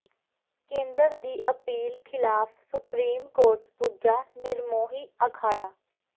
ਕੇਂਦਰ ਦੀ ਅਪੀਲ ਖ਼ਿਲਾਫ਼ ਸੁਪਰੀਮ ਕੋਰਟ ਪੁੱਜਾ ਨਿਰਮੋਹੀ ਅਖਾੜਾ